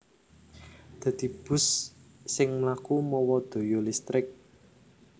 Dadi bus sing mlaku mawa daya listrik